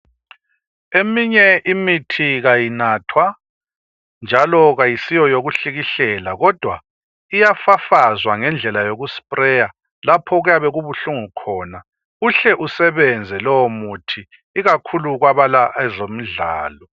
Eminye imithi kayinathwa ,njalo kayisiyo yokuhlikihlela kodwa iyafafazwa ngendlela yoku"sprayer" lapho okuyabe kubuhlungu khona uhle usebenze lowo muthi ikakhulu kwabala ezomdlalo.